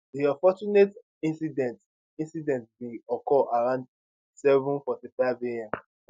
di unfortunate incident incident bin occur around 745am